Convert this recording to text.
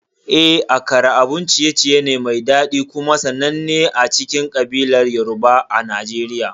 Eh, Akara abun ciye-ciye ne mai daɗi kuma sananne a cikin kabilar Yoruba a Najeriya.